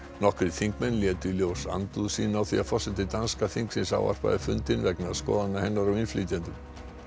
nokkrir þingmenn létu í ljós andúð sína á því að forseti danska þingsins ávarpaði fundinn vegna skoðana hennar á innflytjendum